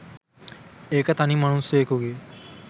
ඒක තනි මනුස්සයෙකුගේ